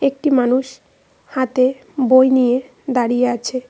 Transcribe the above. একটি মানুষ হাতে বই নিয়ে দাঁড়িয়ে আছে।